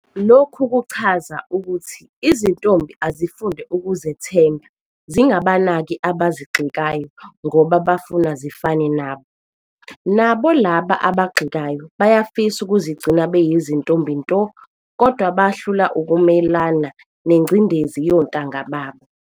Lokhu kuchaza ukuthi izintombi azifunde ukuzethemba zingabanaki abazigxekayo ngoba bafuna zifane nabo. Nabo laba abagxekayo bayafisa ukuzigcina beyizintombi nto kodwa bahlulwa ukumelana nengcindezi yontanga babo.